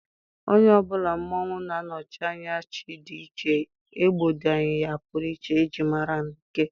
onye ọ bụla mmonwu na-anọchi anya chi dị iche, egbodying ya pụrụ iche e ji mara na ike.